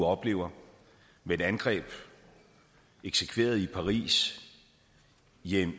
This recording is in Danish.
oplevet med et angreb eksekveret i paris